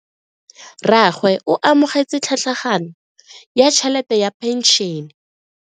Rragwe o amogetse tlhatlhaganyo ya tšhelete ya phenšene.